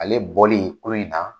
Ale bɔli ko in na